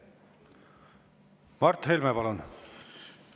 Mart Helme, palun!